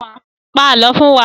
Pa àálọ́ fún wa!